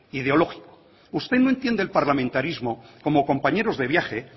ideológico usted no entiende el parlamentarismo como compañeros de viaje